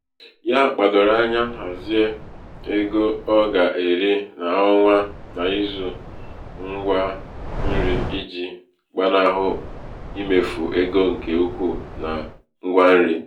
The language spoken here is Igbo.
ya gbàdòrò anya um hàzie hàzie ego ọ gà-èri n’ọnwa n’izū ṅgwa nrī ijì gbanahụ imefù ego ṅ̀kè ukwu na ṅgwa nri.